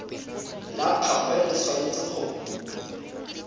la gagwe le tshwanetse go